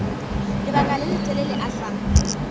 lebaka le letelele a sa